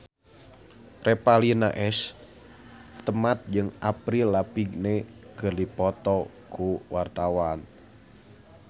Revalina S. Temat jeung Avril Lavigne keur dipoto ku wartawan